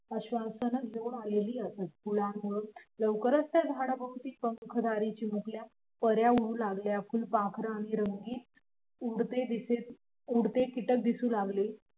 आश्वासन घेऊन आलेली असत फुलामुळं लवकरच त्या झाडाभोवती पंखधारी चिमुकल्या पऱ्या उडू लागल्या फुलपाखरं आणि उडते कीटक दिसू लागले